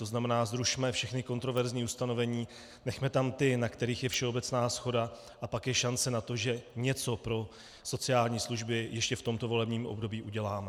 To znamená, zrušme všechna kontroverzní ustanovení, nechme tam ta, na kterých je všeobecná shoda, a pak je šance na to, že něco pro sociální služby ještě v tomto volebním období uděláme.